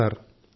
కాదు సార్